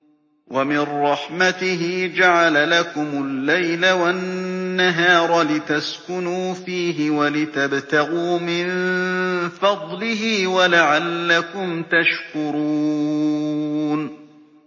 وَمِن رَّحْمَتِهِ جَعَلَ لَكُمُ اللَّيْلَ وَالنَّهَارَ لِتَسْكُنُوا فِيهِ وَلِتَبْتَغُوا مِن فَضْلِهِ وَلَعَلَّكُمْ تَشْكُرُونَ